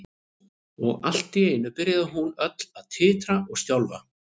Og allt í einu byrjaði hún öll að titra og skjálfa.